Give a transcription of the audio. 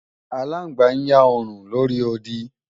Aláǹgbá ń yá òòrùn lóri odi